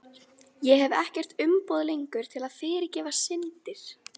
Ég hef ekkert umboð lengur til að fyrirgefa syndir.